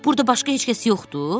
Burada başqa heç kəs yoxdur?